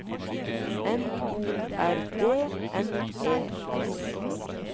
N O R D N E S